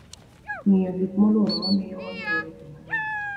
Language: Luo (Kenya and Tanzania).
Ng'iyo gik molworowa miyo wang'eyo weche mang'eny.